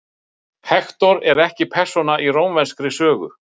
hektor er ekki persóna í rómverskri sögu